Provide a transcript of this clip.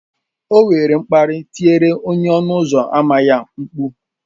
O were mkparị tiere onye ọnụ ụzọ ámá ya mkpu